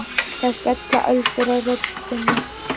Það skella öldur á rödd þinni.